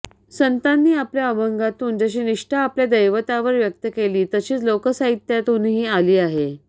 संतांनी आपल्या अभंगातून जशी निष्ठा आपल्या दैवतावर व्यक्त केली तशीच लोकसाहित्यातूनही आली आहे